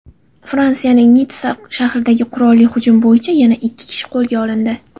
Fransiyaning Nitssa shahridagi qurolli hujum bo‘yicha yana ikki kishi qo‘lga olindi.